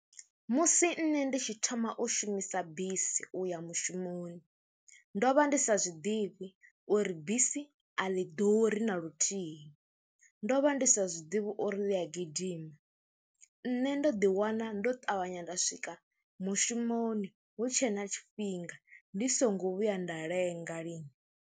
Musi nṋe ndi tshi thoma u shumisa bisi u ya mushumoni ndo vha ndi sa zwi ḓivhi uri bisi a ḽi ḓuri na luthihi, ndo vha ndi ndi sa zwi ḓivhi uri ḽi a gidima, nṋe ndo ḓiwana ndo ṱavhanya nda swika mushumoni hu tshe na tshifhinga ndi songo vhuya nda lenga lini.